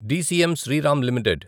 DCM Shriram limited